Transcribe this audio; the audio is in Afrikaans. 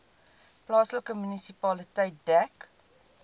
plaaslike munisipaliteit dek